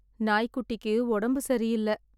நாய் குட்டிக்கு உடம்பு சரி இல்ல